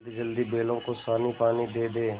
जल्दीजल्दी बैलों को सानीपानी दे दें